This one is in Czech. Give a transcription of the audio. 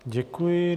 Děkuji.